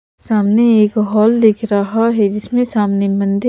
सामने एक हॉल दिख रहा है जिसमे सामने मंदिर--